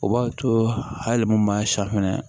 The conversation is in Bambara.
O b'a to hali mun b'a safinɛ